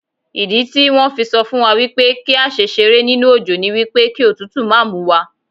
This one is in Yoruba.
Ìdítí wón fi sọ fún wa wípé kí á ṣe ṣeré nínú òjò ni wípé kí òtútù máa múwa.